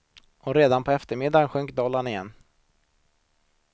Och redan på eftermiddagen sjönk dollarn igen.